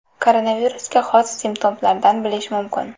Koronavirusga xos simptomlardan bilish mumkin.